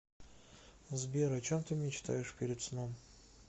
сбер о чем ты мечтаешь перед сном